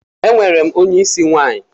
Enwerem onye isi nwanyi.